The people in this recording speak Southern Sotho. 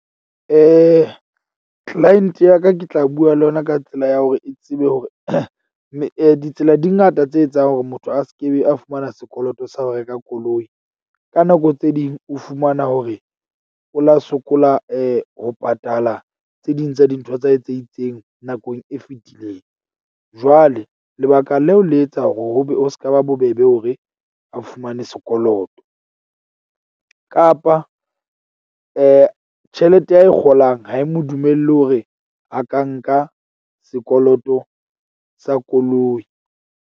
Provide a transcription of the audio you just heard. Client ya ka ke tla bua le yona ka tsela ya hore e tsebe hore ditsela di ngata tse etsang hore motho a se ke be a fumana sekoloto sa ho reka koloi. Ka nako tse ding o fumana hore o la sokola ho patala tse ding tsa dintho tsa hae tse itseng nakong e fetileng. Jwale lebaka leo le etsa hore ho be ho se ka ba bobebe hore a fumane sekoloto. Kapa tjhelete a e kgolang ha e mo dumelle hore a ka nka sekoloto sa koloi.